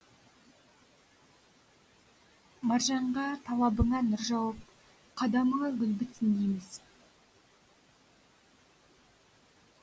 маржанға талабыңа нұр жауып қадамыңа гүл бітсін дейміз